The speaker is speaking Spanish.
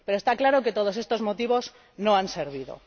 Pero está claro que todos estos motivos no han servido.